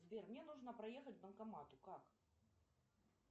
сбер мне нужно проехать к банкомату как